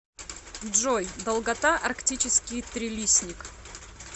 джой долгота арктический трилистник